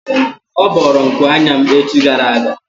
Ọ bọọrọ nku anya m echi gara aga.